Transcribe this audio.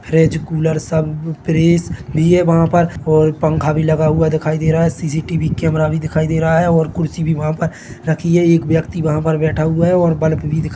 fridge cooler सब fridge लिए वहां पर और पंखा भी लगा हुआ दिखाई दे रहा है सी.सी.टी.वी कैमरा भी दिखाई दे रहा है और कुर्सी भी वहा पर रखी है एक व्यक्ति वहा पर बैठा हुआ है और बल्ब भी दिखा--